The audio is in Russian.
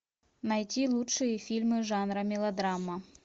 найти лучшие фильмы жанра мелодрама